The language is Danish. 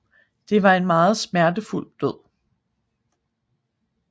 Det var en meget smertefuld død